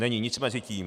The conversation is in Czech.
Není nic mezi tím.